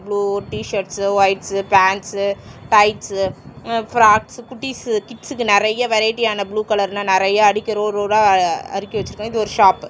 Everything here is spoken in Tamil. இவ்ளோ டிஷர்ட்ஸ்சு ஒயிட்ஸு பேன்ட்ஸ்ஸு டைட்ஸ்ஸு ம் ஃப்ராக்ஸ்ஸு குட்டீஸ் கிட்ஸ்கு நெறைய வெரைட்டியான ப்ளூ கலர்னா நெறைய அடுக்கி ரோ ரோ வா அடுக்கி வெச்சிருக்காங்க இது ஒரு ஷாப்பு .